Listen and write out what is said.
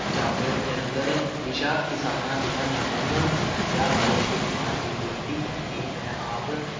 ਜਾਗਰਣ, ਜਲੰਧਰ, ਵਿਸ਼ਾ ਕਿਸਾਨਾਂ ਦੀਆਂ ਅਹਿਮ ਸਮੱਸਿਆ ਬਾਰੇ, ਸ੍ਰੀਮਾਨ ਜੀ, ਬੇਨਤੀ ਹੈ ਕਿ ਮੈਂ ਆਪ